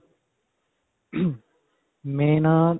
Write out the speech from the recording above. main ਅਅ.